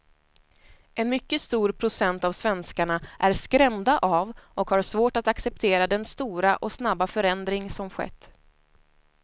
En mycket stor procent av svenskarna är skrämda av och har svårt att acceptera den stora och snabba förändring som skett.